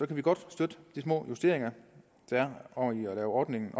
kan vi godt støtte de små justeringer der er og at ordningen